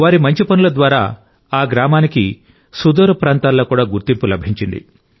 వారి మంచి పనుల ద్వారా ఆ గ్రామానికి సుదూర ప్రాంతాల్లో కూడా గుర్తింపు లభించింది